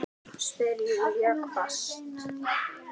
spyr Júlía hvasst.